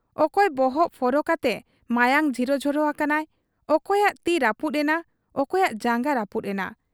ᱚᱠᱚᱭ ᱵᱚᱦᱚᱜ ᱯᱷᱚᱨᱚ ᱠᱟᱛᱮ ᱢᱟᱭᱟᱝ ᱡᱷᱤᱨᱚ ᱡᱷᱚᱨᱚ ᱟᱠᱟᱱᱟᱭ, ᱚᱠᱚᱭᱟᱜ ᱛᱤ ᱨᱟᱹᱯᱩᱫ ᱮᱱᱟ, ᱚᱠᱚᱭᱟᱜ ᱡᱟᱝᱜᱟ ᱨᱟᱹᱯᱩᱫ ᱮᱱᱟ ᱾